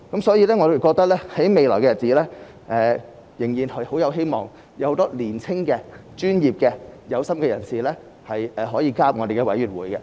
所以，我認為未來仍然甚有希望，有很多年青、專業和有心的人士可以加入政府的委員會。